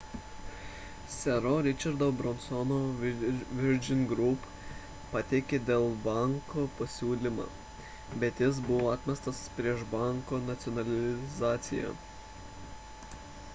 sero richardo bransono virgin group pateikė dėl banko pasiūlymą bet jis buvo atmestas prieš banko nacionalizaciją